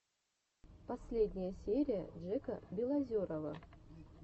последняя серия джека белозерова